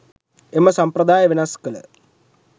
එම සම්ප්‍රදාය වෙනස් කළ